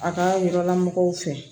A ka yɔrɔla mɔgɔw fɛ